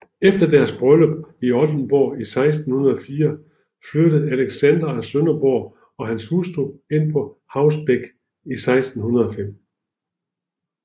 Efter deres bryllup i Oldenborg i 1604 flyttede Alexander af Sønderborg og hans hustru ind på Haus Beck i 1605